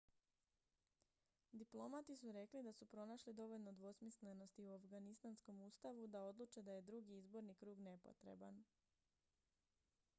diplomati su rekli da su pronašli dovoljno dvosmislenosti u afganistanskom ustavu da odluče da je drugi izborni krug nepotreban